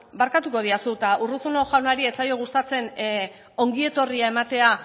bueno barkatuko didazu eta urruzuno jaunari ez zaio gustatzen ongi etorria ematea